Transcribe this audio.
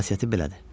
Xasiyyəti belədir.